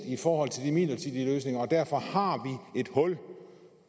i forhold til de midlertidige løsninger og derfor har vi et hul